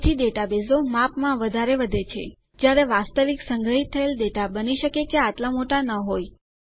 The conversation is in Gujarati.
તેથી ડેટાબેઝો માપમાં વધારે વધે છે જયારે વાસ્તવિક સંગ્રહિત થયેલ ડેટા બની શકે કે આટલા મોટા ન હોય